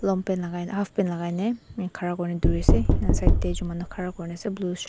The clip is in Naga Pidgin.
long paint half pant lagai ne khara kori dekhi ase side te major khara kori na ase blue shirt .